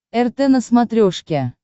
рт на смотрешке